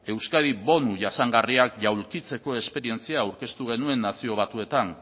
euskadik bonu jasangarriak jaulkitzeko esperientzia aurkeztu genuen nazio batuetan